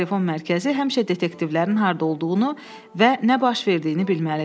Telefon mərkəzi həmişə detektivlərin harda olduğunu və nə baş verdiyini bilməlidir.